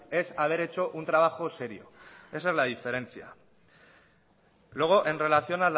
es haber hecho un trabajo serio esa es la diferencia luego en relación